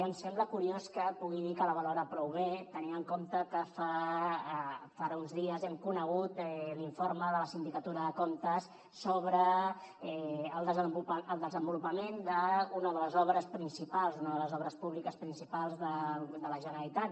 em sembla curiós que pugui dir que la valora prou bé tenint en compte que fa uns dies hem conegut l’informe de la sindicatura de comptes sobre el desenvolupament d’una de les obres públiques principals de la generalitat